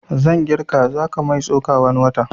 Zan girka zaka mai tsoka wani watan